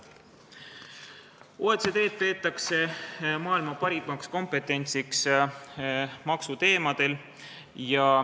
Arvatakse, et OECD-s on maksuteemadel maailma parim kompetents.